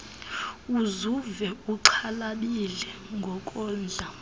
uzuve uxhalabile ngokondla